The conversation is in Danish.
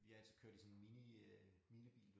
Vi har altid kørt i sådan mini øh minibil